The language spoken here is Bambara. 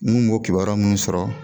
N kun b'o kibaruya minnu sɔrɔ